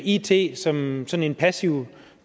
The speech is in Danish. it som sådan en passiv